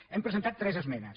hem presentat tres esmenes